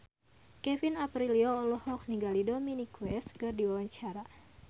Kevin Aprilio olohok ningali Dominic West keur diwawancara